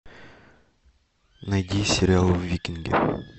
найди сериал викинги